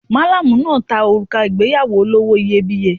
Malamu náà ta òrùka ìgbéyàwó olówó iyebíye.